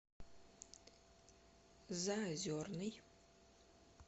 заозерный